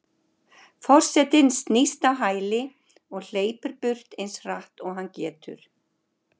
Forsetinn snýst á hæli og hleypur burt eins hratt og hann getur.